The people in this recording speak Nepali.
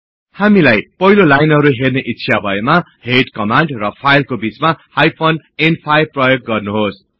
हामीलाई पहिलो लाइनहरु हेर्ने इच्छा भएमा हेड कमान्ड र फाईलको बीचमा हाइफेन न्5 प्रयोग गर्नुहोस्